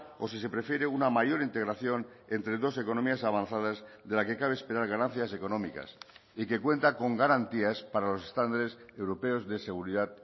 o sí se prefiere una mayor integración entre dos economías avanzadas de la que cabe esperar ganancias económicas y que cuenta con garantías para los estándares europeos de seguridad